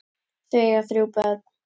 Þau eiga þrjú börn.